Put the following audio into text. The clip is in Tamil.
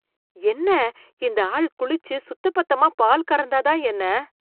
என்ன இந்த ஆள் குளிச்சு சுத்தபத்தமா பால் கறந்தாதான் என்ன?